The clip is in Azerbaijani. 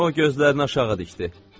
O gözlərini aşağı dikdi.